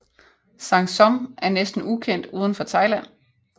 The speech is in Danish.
Sang Som er næsten ukendt uden for Thailand